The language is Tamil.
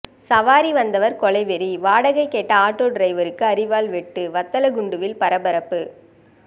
சவாரி வந்தவர் கொலைவெறி வாடகை கேட்ட ஆட்டோ டிரைவருக்கு அரிவாள் வெட்டு வத்தலக்குண்டுவில் பரபரப்பு